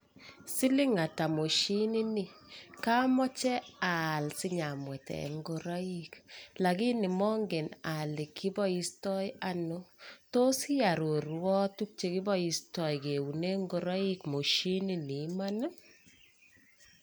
Siling atak moshini ni keboishe kemwetisyen kemoche aal amongen olekiboisheitoi ara tos iarorwo